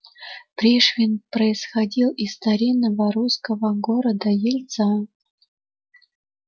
пришвин происходил из старинного русского города ельца